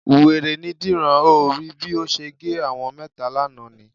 Wèrè ni Dìran. O ò rí bí ó ṣe gé àwọn mẹ́ta lánàá ni?